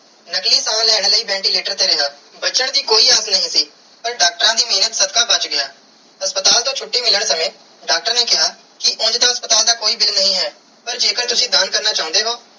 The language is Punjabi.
ਨਕਲੀ ਸਾਹ ਲੈਣ ਲਾਇ ventilator ਤੇ ਰਿਆ ਬਚਨ ਦੀ ਕੋਈ ਆਗਿਆ ਨਾਈ ਸੀ ਪਾਰ ਡਾਕਟਰਾਂ ਦੀ ਮੇਹਰ ਸਦਕਾ ਬਚ ਗਿਆ ਹਸਪਤਾਲ ਤੂੰ ਛੁਟੀ ਮਿਲਣ ਸਮਾਂ ਡਾਕਟਰ ਨੇ ਕੀਆ ਉਂਜ ਤੇ ਹਸਪਤਾਲ ਦਾ ਕੋਈ bill ਨਾਕਿ ਹੈ ਪਾਰ ਜੇ ਕਰ ਤੁਸੀਂ ਦਾਨ ਕਰਨਾ ਚਾਨੇ ਹੋ.